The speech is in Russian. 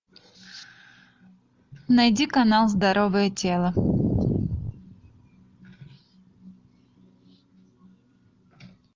найди канал здоровое тело